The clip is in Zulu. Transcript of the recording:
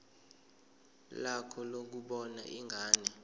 lakho lokubona ingane